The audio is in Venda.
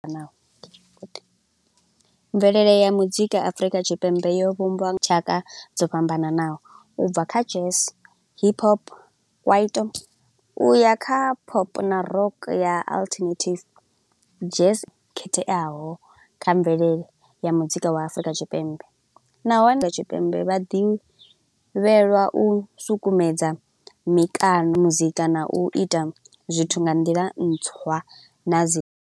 Naho, mvelele ya muzika Afrika Tshipembe yo vhumbwa tshaka dzo fhambananaho, ubva kha jazz, hip hop, kwaito, u ya kha pop na rock ya alternative. Jazz, khetheaho kha mvelele ya muzika wa Afrika Tshipembe, nahone nda Afrika Tshipembe vha ḓivhelwa u sukumedza mikano muzika, na u ita zwithu nga nḓila ntswa na dzi.